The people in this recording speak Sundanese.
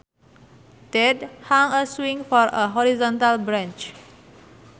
Dad hung a swing from a horizontal branch